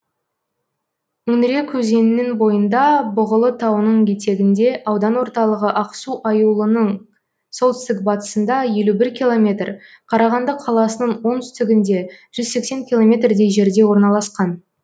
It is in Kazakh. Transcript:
үңірек өзенінің бойында бұғылы тауының етегінде аудан орталығы ақсу аюлының солтүстік батысында елу бір километр қарағанды қаласының оңтүстігінде жүз сексен километрдей жерде орналасқан